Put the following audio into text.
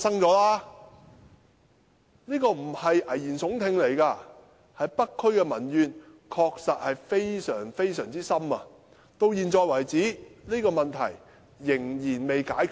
這不是危言聳聽，北區確實民怨沸騰，到了現在，問題仍未解決。